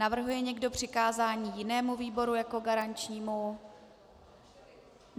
Navrhuje někdo přikázání jinému výboru jako garančnímu?